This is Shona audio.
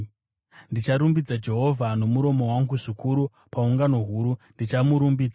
Ndicharumbidza Jehovha nomuromo wangu zvikuru; paungano huru, ndichamurumbidza.